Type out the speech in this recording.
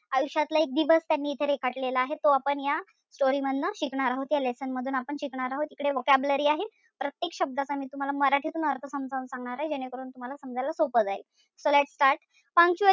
आयुष्यातला एक दिवस इथं त्यांनी रेखाटलेला आहे. तो आपण या story मधनं शिकणार आहोत. या lesson मधून आपण शिकणार आहोत. इकडे vocabulary आहे. प्रत्येक शब्दाचा मी तुम्हाला मराठीतून अर्थ सांगणार आहे, जेणे करून तुम्हाला समजायला सोपं जाईल.